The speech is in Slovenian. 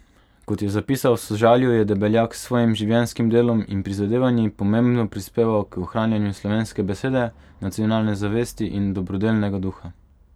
Kot je zapisal v sožalju, je Debeljak s svojim življenjskim delom in prizadevanji pomembno prispeval k ohranjanju slovenske besede, nacionalne zavesti in dobrodelnega duha.